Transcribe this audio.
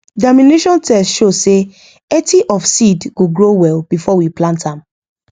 germination test show say 80 of seed go grow well before we plant am